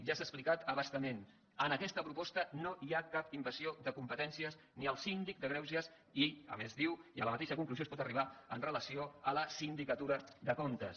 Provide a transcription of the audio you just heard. ja s’ha explicat a bastament en aquesta proposta no hi ha cap invasió de competèn cies ni al síndic de greuges i a més diu i a la mateixa conclusió es pot arribar amb relació a la sindicatura de comptes